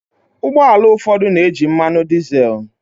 Ụgbọ ala ụfọdụ na-eji mmanụ dizel.